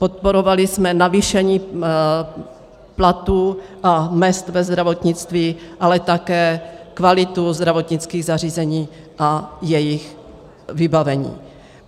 Podporovali jsme navýšení platů a mezd ve zdravotnictví, ale také kvalitu zdravotnických zařízení a jejich vybavení.